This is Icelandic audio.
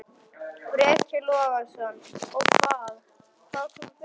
Breki Logason: Og hvað, hvað kom fyrir?